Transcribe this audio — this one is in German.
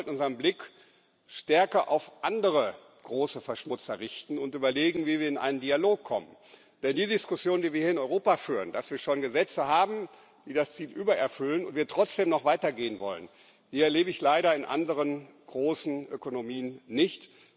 Aber wir sollten unseren Blick stärker auf andere große Verschmutzer richten und überlegen, wie wir in einen Dialog kommen, denn die Diskussion, die wir hier in Europa führen, dass wir schon Gesetze haben, die das Ziel übererfüllen und wir trotzdem noch weiter gehen wollen, erlebe ich leider in anderen großen Ökonomien nicht.